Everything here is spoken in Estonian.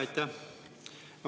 Aitäh!